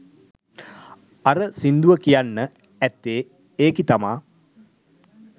අර සින්දුව කියන්න ඇත්තේ ඒකි තමා